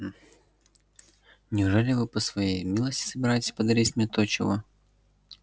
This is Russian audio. неужели вы по своей милости собираетесь подарить мне то чего